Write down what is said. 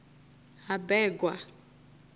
habegwa